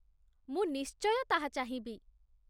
ମୁଁ ନିଶ୍ଚୟ ତାହା ଚାହିଁବି !